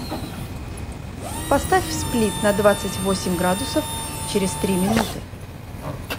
поставь сплит на двадцать восемь градусов через три минуты